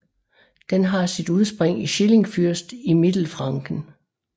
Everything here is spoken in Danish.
Den har sit udspring i Schillingsfürst i Mittelfranken